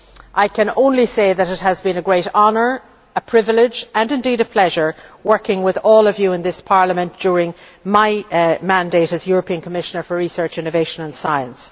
I can only say that it has been a great honour, a privilege and indeed a pleasure to work with all of you in this Parliament during my mandate as European Commissioner for Research, Innovation and Science.